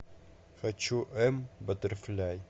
хочу эм баттерфляй